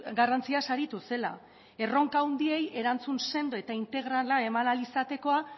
garrantziaz aritu zela erronka handiei erantzun sendo eta integrala eman ahal izatekoa